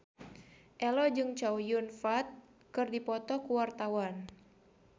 Ello jeung Chow Yun Fat keur dipoto ku wartawan